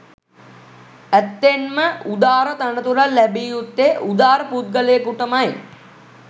ඇත්තෙන්ම උදාර තනතුරක් ලැබිය යුත්තේ උදාර පුද්ගලයකුටමයි.